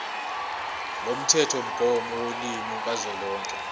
lomthethomgomo wolimi kazwelonke